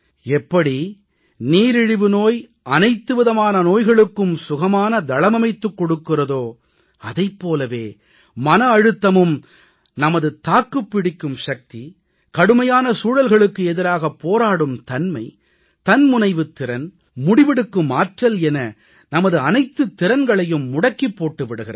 எப்படி நீரிழிவு நோய் அனைத்து விதமான நோய்களுக்கும் சுகமான தளமமைத்துக் கொடுக்கிறதோ அதைப் போலவே மன அழுத்தமும் நமது தாக்குப் பிடிக்கும் சக்தி கடுமையான சூழல்களுக்கு எதிராகப் போராடும் தன்மை தன்முனைவுத் திறன் முடிவெடுக்கும் ஆற்றல் என நமது அனைத்துத் திறன்களையும் முடக்கிப் போட்டு விடுகிறது